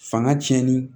Fanga tiɲɛni